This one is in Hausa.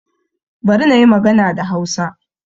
Bari na yi magana da Hausa